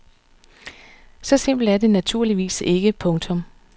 Så simpelt er det naturligvis ikke. punktum